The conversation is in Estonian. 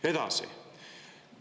Edasi.